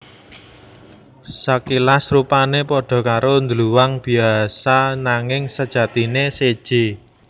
Sakilas rupané padha karo dluwang biasa nanging sajatiné séjé